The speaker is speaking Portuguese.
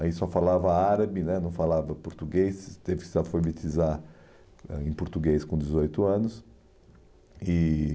Aí só falava árabe né, não falava português, teve que se alfabetizar eh em português com dezoito anos. E...